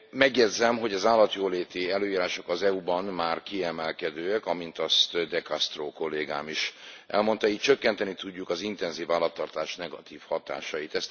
Megjegyzem, hogy az állatjóléti előírások az EU ban már kiemelkedőek, amint azt De Castro kollégám is elmondta, így csökkenteni tudjuk az intenzív állattartás negatív hatásait.